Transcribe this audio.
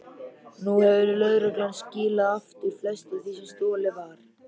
Nú hefur lögreglan skilað aftur flestu því sem stolið var.